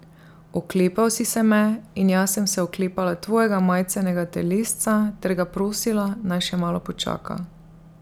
Oklepal si se me in jaz sem se oklepala tvojega majcenega telesca ter ga prosila, naj še malo počaka.